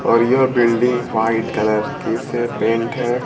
और यह building white colour के से पेंट है।